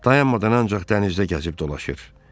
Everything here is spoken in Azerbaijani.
Dayanmadan ancaq dənizdə gəzib dolaşır.